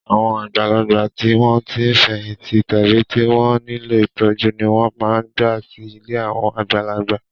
Àwọn àgbàlagbà tí wọ́n ti fẹ̀yìntì tàbí tí wọ́n nílò ìtọ́jú ni wọ́n máa ń gbà sí ilé àwọn àgbàlagbà.